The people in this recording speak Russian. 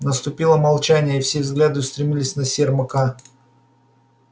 наступило молчание и все взгляды устремились на сермака